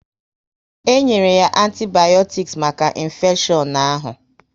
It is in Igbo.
E nyere ya antibayotiks maka infeshion ahụ